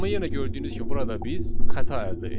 Amma yenə gördüyünüz kimi burada biz xəta əldə etdik.